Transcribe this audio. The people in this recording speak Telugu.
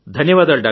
ధన్యవాదాలు